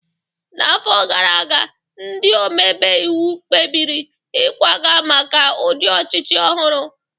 N'afọ gara aga, ndị omebe iwu kpebiri ịkwaga maka ụdị ọchịchị ọhụrụ